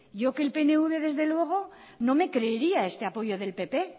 yo que el pnv desde luego no me creería este apoyo del pp